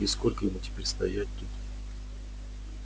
и сколько ему теперь стоять тут